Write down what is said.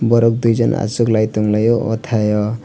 borok dui jona asoklai tanglai o tai.